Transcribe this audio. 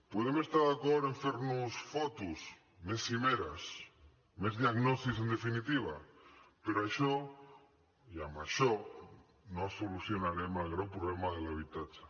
podem estar d’acord en fer nos fotos més cimeres més diagnosis en definitiva però això i amb això no solucionarem el greu problema de l’habitatge